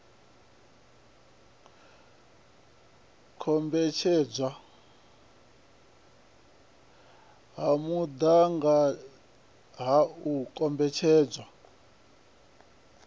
ha mudagasi ha u kombetshedza